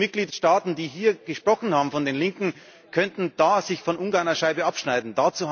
Viele Mitgliedstaaten, die hier gesprochen haben, von den Linken, könnten sich da von Ungarn eine Scheibe abschneiden.